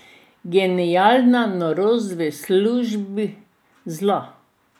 Genialna norost v službi Zla.